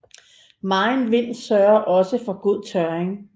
Megen vind sørger også for god tørring